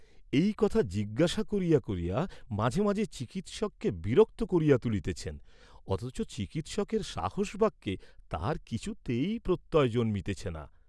এই কথা জিজ্ঞাসা করিয়া মাঝে মাঝে চিকিৎসককে বিরক্ত করিয়া তুলিতেছেন, অথচ চিকিৎসকের সাহস বাক্যে তাঁহার কিছুতেই প্রত্যয় জন্মিতেছে না।